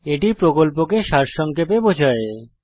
এটি প্রকল্পকে সারসংক্ষেপে বোঝায়